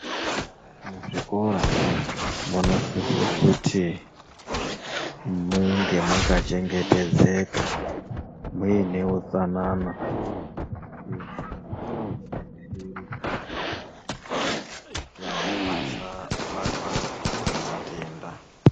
Muzvikora munosise kuti munge makachemgetedzeka, muine utsanana izvi zvinodetsera kuti vana vasabatwa ngematenda.